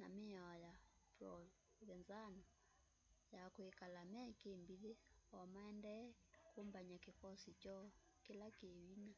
na miao ya provenzano ya kwikala me kimbithi o maendee kumbany'a kikosi kyoo kila ki vinya